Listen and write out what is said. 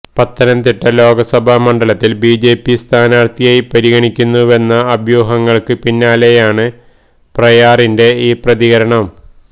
പത്തനംതിട്ട ലോകസഭാ മണ്ഡലത്തില് ബിജെപി സ്ഥാനാര്ത്ഥിയായി പരിഗണിക്കുന്നുവെന്ന അഭ്യഹങ്ങള്ക്ക് പിന്നാലെയാണ് പ്രയാറിന്റെ ഈ പ്രതികരണം